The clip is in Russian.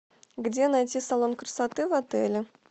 где найти салон красоты в отеле